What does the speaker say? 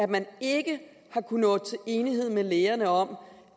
man ikke har kunnet nå til enighed med lægerne om